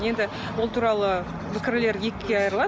енді ол туралы пікірлер екіге айырылады